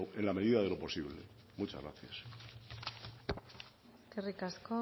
en la medida de lo posible muchas gracias eskerrik asko